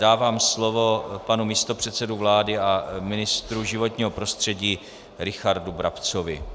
Dávám slovo panu místopředsedovi vlády a ministru životního prostředí Richardu Brabcovi.